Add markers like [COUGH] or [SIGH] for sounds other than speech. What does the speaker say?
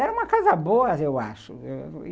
E era uma casa boa, eu acho [UNINTELLIGIBLE]